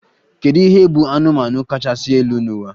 Kedu ihe bụ anụmanụ kachasị elu n'ụwa?